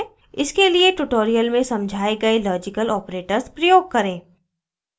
* इसके लिए tutorial में समझाए गए logical operators प्रयोग करें